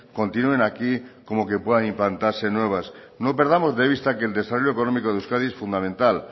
continúen aquí como que pueda implantarse nuevas no perdamos de vista que el desarrollo económico de euskadi es fundamental